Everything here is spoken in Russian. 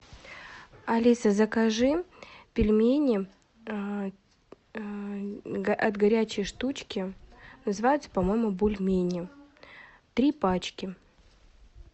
алиса закажи пельмени от горячей штучки называются по моему бульмени три пачки